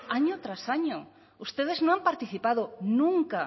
año tras año ustedes no han participado nunca